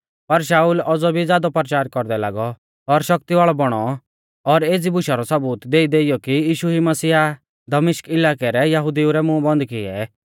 पर शाऊल औज़ौ भी ज़ादौ परचार कौरदै लागौ और शक्ति वाल़ौ बौणौ और एज़ी बुशा रौ सबूत देईदेइयौ कि यीशु ई मसीह आ दमिश्क इलाकै रै यहुदिऊ रै मूंह बन्द किऐ